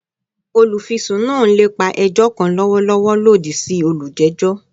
Olufisun naa n lepa ẹjọ kan lọwọlọwọ lodi si olujejọ